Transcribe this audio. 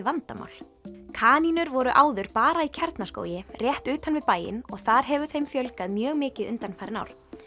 vandamál kanínur voru áður bara í Kjarnaskógi rétt utan við bæinn og þar hefur þeim fjölgað mjög mikið undanfarin ár